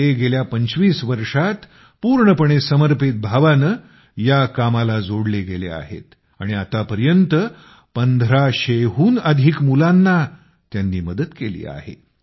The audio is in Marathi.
ते गेल्या २५ वर्षात पूर्णपणे समर्पित भावानं या कामाला जोडले गेले आहेत आणि आतापर्यंत १५०० हून अधिक मुलांची त्यांनी मदत केली आहे